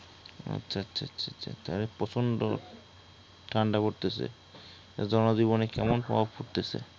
আচ্ছা আচ্ছা আচ্ছা আচ্ছা আচ্ছা তাইলে প্রচন্ড ঠান্ডা পড়তেসে । জনজীবনে কেমন প্রভাব পড়তেসে?